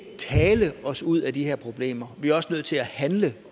tale os ud af de her problemer vi er også nødt til at handle